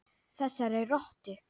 Þessari rottu.